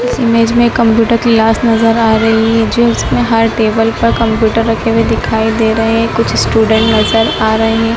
इस इमेज में computer class नजर आ रही है जो उसमें हर टेबल पर कंप्यूटर रखे हुए दिखाई दे रहे हैं कुछ स्टूडेंट नजर आ रहे है।